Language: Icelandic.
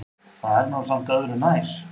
Það er nú samt öðru nær.